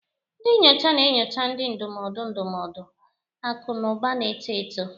Ndị nyocha na-enyocha, ndị ndụmọdụ ndụmọdụ, akụ na ụba na-eto eto.